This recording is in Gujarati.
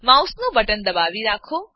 માઉસનું બટન દબાવી રાખો